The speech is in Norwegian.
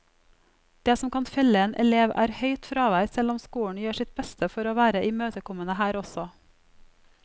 Det som kan felle en elev, er høyt fravær, selv om skolen gjør sitt beste for å være imøtekommende her også.